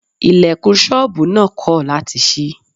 Ilẹ̀kùn ṣọ́bùù náà kọ̀ láti ṣí.